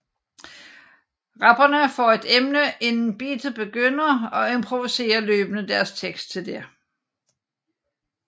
Rapperne får et emne inden beatet begynder og improviserer løbende deres tekst til det